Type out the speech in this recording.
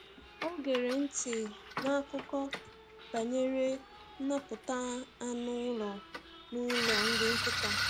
Ọ gera ntị n’akụkọ banyere nnapụta anụ ụlọ n’ụlọ nri nkịta.